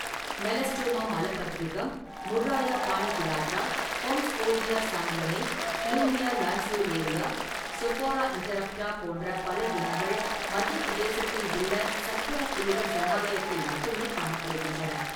Melastoma malabathricum, Murraya paniculata, Holmskioldia sanguinea, Blumea lanceolaria, Sophora interrupta போன்ற பல இனங்கள் மத்திய பிரதேசத்தில் உள்ள சத்புரா புலிகள் சரணாலயத்தில் மட்டுமே காணப்படுகின்றன.